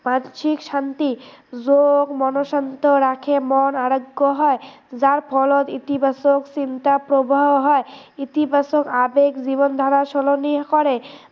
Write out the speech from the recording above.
মানসিক শান্তি যোগ মন শান্ত ৰাখে, মন আৰোগ্য় হয় যাৰ ফলত ইতিবাচক চিন্তা প্ৰবাহ হয়, ইতিবাচক আবেগ জীৱনধাৰা সলনি কৰে